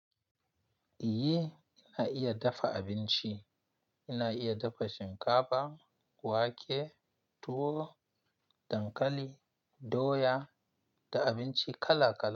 Iye ina iya dafa abinci. Ina iya dafa shinkafa, wake, tuwo, dankali, doya da abinci kala kala.